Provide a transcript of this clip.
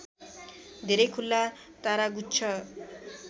धेरै खुल्ला तारागुच्छ